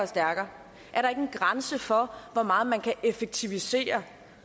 stærkere er der ikke en grænse for hvor meget man kan effektivisere